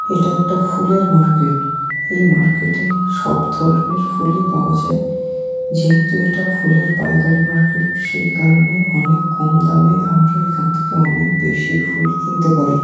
এটা একটা ফুলের মার্কেট এই মার্কেটে সব ধরনের ফুলই পাওয়া যায় যেহেতু এটা ফুলের পাইকারি মার্কেট সেই কারণে অনেক কম দামে আমরা এখান থেকে অনেক বেশি ফুল কিনতে পারি।